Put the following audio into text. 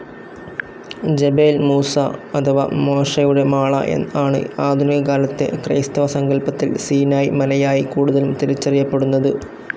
Jebel Musa അഥവാ മോശയുടെ മാള ആണ് ആധുനികകാലത്തെ ക്രൈസ്തവസങ്കല്പത്തിൽ സീനായി മലയായി കൂടുതലും തിരിച്ചറിയപ്പെടുന്നത്.